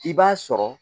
I b'a sɔrɔ